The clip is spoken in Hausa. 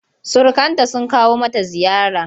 Surukanta sun kawo mata ziyara.